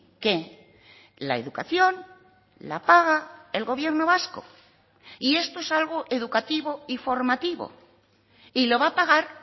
que la educación la paga el gobierno vasco y esto es algo educativo y formativo y lo va a pagar